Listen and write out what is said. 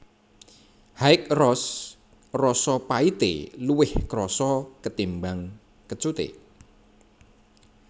High Roast rasa pahité luwih krasa ketimbang kecuté